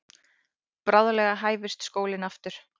Bráðlega hæfist skólinn aftur.